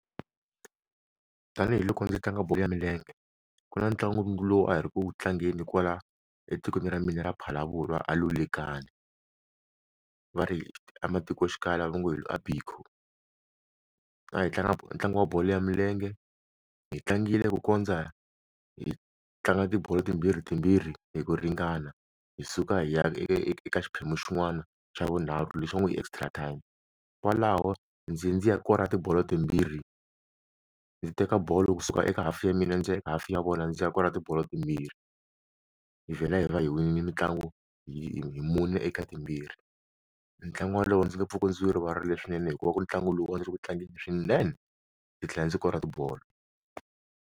Tanihi loko ndzi tlanga bolo ya milenge ku na ntlangu lowu a hi ri ku tlangeni kwala etikweni ra mina ra Phalaborwa a Lulekani va ri ematikoxikaya laha vo nge a bikho a hi tlanga ntlangu wa bolo ya milenge hi tlangile ku kondza hi tlanga tibolo timbirhi timbirhi hi ku ringana hi suka hi ya eka xiphemu xin'wana xa vunharhu lexi va ngo hi extra time kwalaho ndzi dzi ya kora tibolo timbirhi ndzi teka bolo kusuka eka hafu ya mina ndzi eka hafu ya vona ndzi ya kora ti bolo timbirhi hi vhela hi va hi winile mitlangu hi mune eka timbirhi ntlangu wa lowu ndzi nge pfuke ndzi wu rivarile swinene hikuva ku ntlangu lowu u nga ri wu tlangerini swinene ndzi tlhela ndzi kora tibolo.